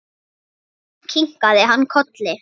Kinkað kolli.